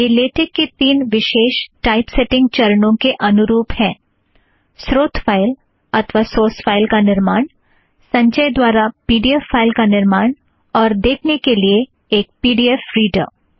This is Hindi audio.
यह लेटेक की तीन विशेष टाइपसेटींग चरणों के अनुरूप हैं - स्रोत फ़ाइल अथ्वा सोर्स फ़ाइल का निर्माण संचय द्वारा पी ड़ी ऐफ़ फ़ाइल का निर्माण और देखने के लिए एक पी ड़ी ऐफ़ रीड़र